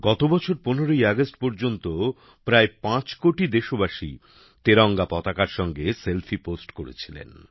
গতবছর ১৫ ই আগস্ট পর্যন্ত প্রায় পাঁচ কোটি দেশবাসী তেরঙা পতাকার সঙ্গে সেলফি পোস্ট করেছিলেন